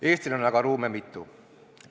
Eestil on aga ruume mitu.